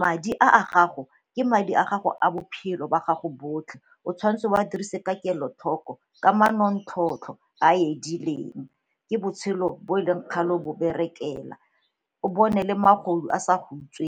madi a a gago, ke madi a gago a bophelo ba gago botlhe o tshwanetse wa dirise ka kelotlhoko ka manontlhotlho a edileng ke botshelo bo e leng kgale bo berekela o bone magodu a sa go .